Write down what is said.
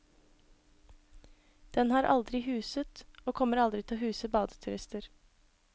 Den har aldri huset og kommer aldri til å huse badeturister.